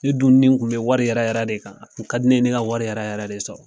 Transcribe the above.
Ne dun nitun bɛ wari yɛrɛ yɛrɛ de kan ka a tun ka di ne ye ne ka wari yɛrɛ yɛrɛ de sɔrɔ.